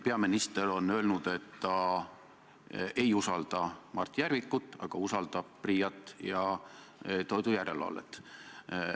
Peaminister on öelnud, et ta ei usalda Mart Järvikut, aga usaldab PRIA-t ja toidujärelevalvet.